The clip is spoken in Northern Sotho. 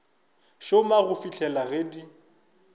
šoma go fihlela ge di